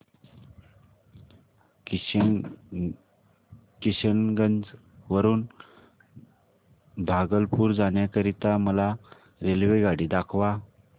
किशनगंज वरून भागलपुर जाण्या करीता मला रेल्वेगाडी दाखवा